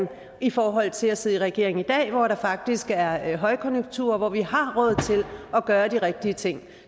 i forhold til at sidde i regering i dag hvor der faktisk er er højkonjunktur og hvor vi har råd til at gøre de rigtige ting